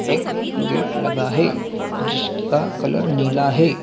एक गेट लगा है जिसका कलर नीला है।